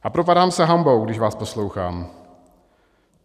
A propadám se hanbou, když vás poslouchám.